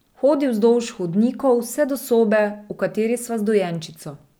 Hodi vzdolž hodnikov vse do sobe, v kateri sva z dojenčico.